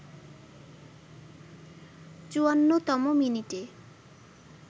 ৫৪তম মিনিটে